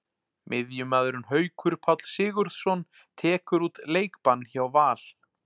Miðjumaðurinn Haukur Páll Sigurðsson tekur út leikbann hjá Val.